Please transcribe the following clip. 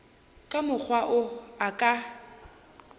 ka mokgwa wo a ka